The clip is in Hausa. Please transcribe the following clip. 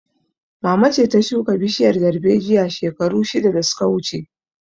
Mama ce ta shuka bishiyar darbejiya shekaru shida da su ka wuce